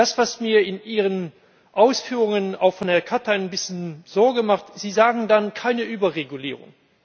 Das, was mir in Ihren Ausführungen auch von Herrn Katainen ein bisschen Sorge macht Sie sagen keine Überregulierung.